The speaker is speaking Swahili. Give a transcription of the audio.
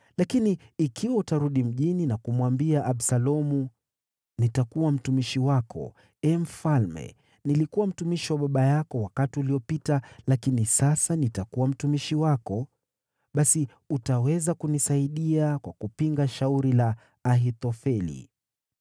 Lakini ikiwa utarudi mjini na kumwambia Absalomu, ‘Nitakuwa mtumishi wako, ee mfalme; nilikuwa mtumishi wa baba yako wakati uliopita, lakini sasa nitakuwa mtumishi wako,’ basi utaweza kunisaidia kwa kupinga shauri la Ahithofeli.